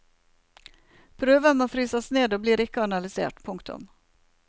Prøver må fryses ned og blir ikke analysert. punktum